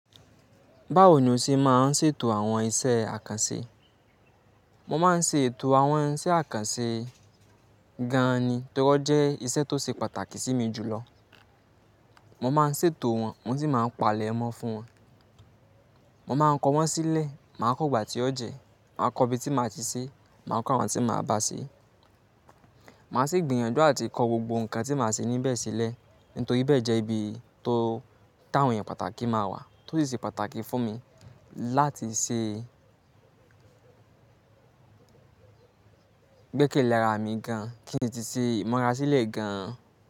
Báwo ni o ṣe máa ń ṣètò àwọn iṣẹ́ àkànṣe? Mo máa ń ṣe ètò àwọn iṣẹ́ àkànṣe gan ni torí wọ́n jẹ́ iṣẹ́ tó ṣe pàtàkì sí mi jù lọ. Mo máa ń ṣètò wọn, mo sì máa ń pa àlẹ̀ mọ́ fún wọn. Mo máa ń kọ wọ́n sílẹ̀, màá kọ igbà tí ó jẹ, màá kọ ibi tí màá ti ṣe, màá kọ àwọn tí màá bá ṣe. Màá sì gbìyànjú àti kọ gbogbo nǹkan tí màá ṣe níbẹ̀ sílẹ̀, nítorí bẹ́ẹ̀ jẹ́ ibi tó táwọn èèyàn pàtàkì máa wà, tó sì ṣe pàtàkì fún mi láti ṣe gbékelẹ̀ ara mi gan, kí n tíì ṣe, imura sílẹ̀ gan.